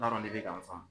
N t'a dɔn ne bɛ k'a faamu